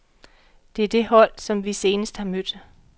Det er det hold, som vi senest har mødt.